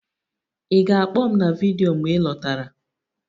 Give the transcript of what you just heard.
ị ga-akpọ m na vidiyo mgbe ị lọtara?